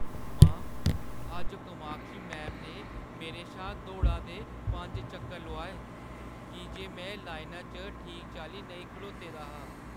मां, अज्ज कामाक्षी मैम ने मेरे शा दौड़ा दे पंज चक्कर लोआए की जे में लाइना च ठीक चाल्ली नेईं खड़ोती दी ही।